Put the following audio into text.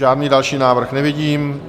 Žádný další návrh nevidím.